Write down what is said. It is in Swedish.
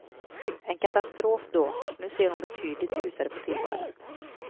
En katastrof då, nu ser hon betydligt ljusare på tillvaron.